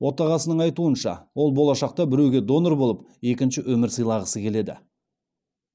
отағасының айтуынша ол болашақта біреуге донор болып екінші өмір сыйлағысы келеді